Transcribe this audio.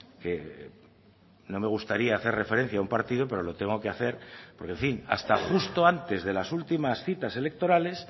que no me gustaría hacer referencia a un partido pero lo tengo que hacer porque en fin hasta justo antes de las últimas citas electorales